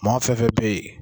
Mɔgɔ fɛn fɛn bɛ yen